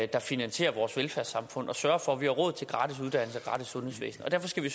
der finansierer vores velfærdssamfund og sørger for at vi har råd til gratis uddannelse og gratis sundhedsvæsen og derfor skal vi